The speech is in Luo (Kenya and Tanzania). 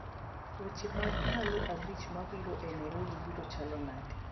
Weche mag ndalo abich mabiro e Nairobi biro chalo nade?